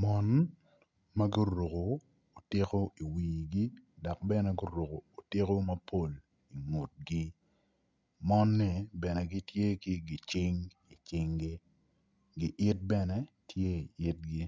Mon ma guruku tiko i wigi dok bene guruku tiku mapol i ngutgi mon-ni bene gitye ki gicing i cinggi giit bene tye i itgi